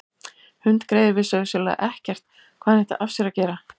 Hundgreyið vissi auðsjáanlega ekkert hvað hann ætti af sér að gera.